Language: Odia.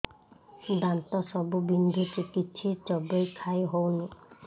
ଦାନ୍ତ ସବୁ ବିନ୍ଧୁଛି କିଛି ଚୋବେଇ ଖାଇ ହଉନି